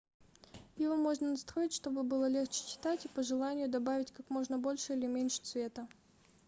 его можно настроить чтобы было легче читать и по желанию добавить как можно больше или меньше цвета